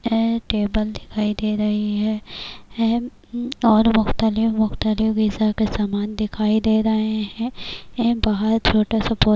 ایک ٹیبل دکھائی دے رہی ہے اور مختلف مختلف غذا کے سامان دکھائی دے رہے ہیں- ایک بہت چھوٹا سا--